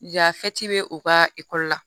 Yan bɛ o ka ekɔli la